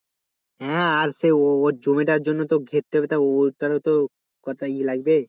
হ্যাঁ আর সে ওর জমিটা জন্য তো ঘেরতে হবে তা ওর তাহলে তো কটাই ইয়ে লাগবে